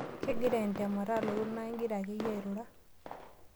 Kegira entemata alotu naa igira akeyie airura.